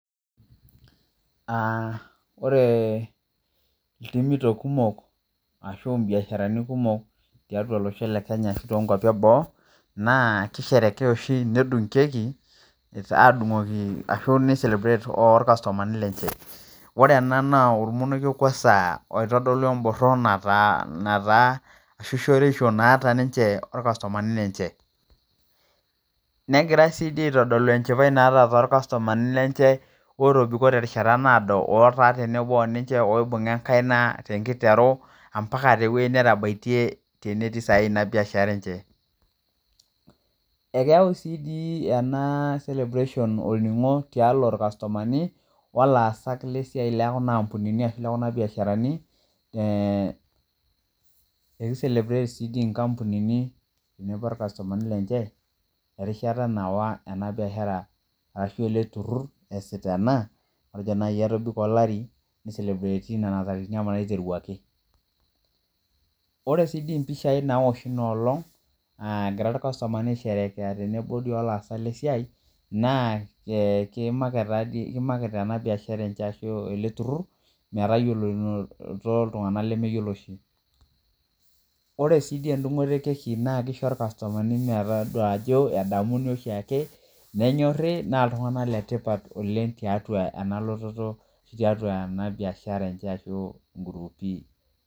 Aa ore iltumito kumok asu imbiasharani kumok tolosho lekenya ashu tolosho le boo na kedung keki nedung keki orkastomani lenye ore ena na ormonoke oitodolu emboran nataa shoruetiso naata orkastomani negirai aitadolu enchipae naata ninche otobiki tenkata naado oibunga enkaina ambaka tewoi netabaitie tenetii inabishara enche ekeyau si ena olningo tiatua irbiasharani olaasak lesiai lekuna ambunini ashu lekuna biasharani e erishata naywa ena biashara ashu eleturur matejo etobiko olati ni celebrati ntarikini naiteruaki ore mpishai naoshi inaolong na kimarket ena biashara enye ashu ele turur metayiolounoto ltunganak lemeyioloro oshi ore si endungoto ekeki na kisho irkastomani metadol ayo enyori oleng tiatua enabiashara enye ongurupi